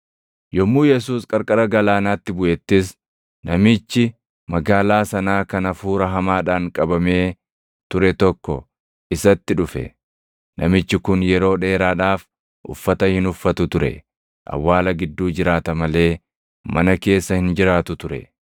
Yommuu Yesuus qarqara galaanaatti buʼettis namichi magaalaa sanaa kan hafuura hamaadhaan qabamee ture tokko isatti dhufe. Namichi kun yeroo dheeraadhaaf uffata hin uffatu ture; awwaala gidduu jiraata malee mana keessa hin jiraatu ture.